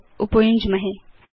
च उपयुञ्ज्महे